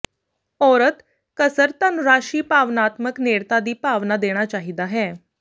ਔਰਤ ਕਸਰ ਧਨ ਰਾਸ਼ੀ ਭਾਵਨਾਤਮਕ ਨੇੜਤਾ ਦੀ ਭਾਵਨਾ ਦੇਣਾ ਚਾਹੀਦਾ ਹੈ